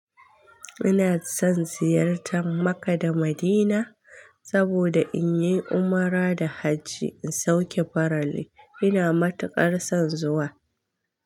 Ina son ziyartar Makka da Madina saboda in yi umra da hajji in sauke farali. Ina matuƙar son zuwa.